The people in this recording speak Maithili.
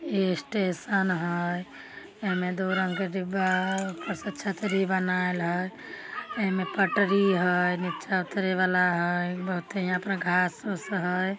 इ स्टेशन हेय । एमे दू रंग के दीवाल ऊपर से छतरी बनेल है। एमे पटरी हेय। एमे नीचा उतरे वाला हेय। बहुते यहाँ पे घांस-उस हेय।